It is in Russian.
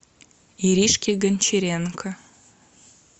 иришке гончаренко